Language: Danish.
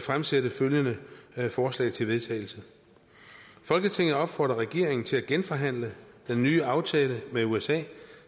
fremsætte følgende forslag til vedtagelse folketinget opfordrer regeringen til at genforhandle den nye aftale med usa